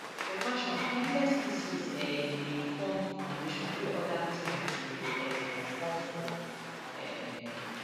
for fashion timeless pieces um dey form di foundation wey oda trends dey um come from um